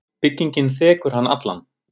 Byggingin þekur hann allan.